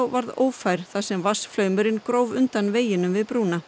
varð ófær þar sem vatnsflaumurinn gróf undan veginum við brúna